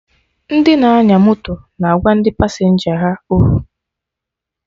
Ndị na-anya moto na agwa ndị pasenja ha okwu